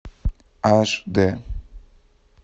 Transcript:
аш д